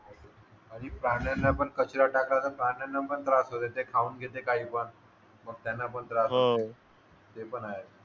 आणि प्राण्यांना पण कचरा टाकल्यावर प्राण्यांना पण त्रास होतो ते खाऊन घेतात काही भाग मग त्यांना पण त्रास होतो ते पण आहे